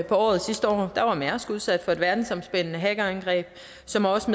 året sidste år var mærsk udsat for et verdensomspændende hackerangreb som også